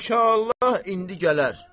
İnşallah indi gələr.